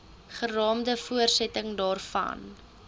geraamde voortsetting daarvan